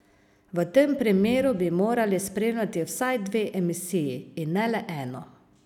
V tem primeru bi morali spremljati vsaj dve emisiji, in ne le eno.